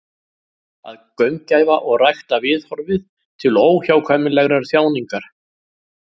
Að gaumgæfa og rækta viðhorfið til óhjákvæmilegrar þjáningar.